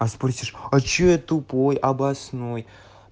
а спросишь а что я тупой обоснуй